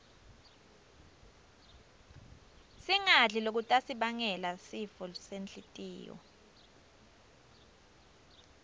singadli lokutasibangela sifo senhltiyo